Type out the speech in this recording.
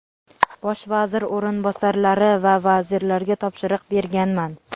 bosh vazir o‘rinbosarlari va vazirlarga topshiriq berganman.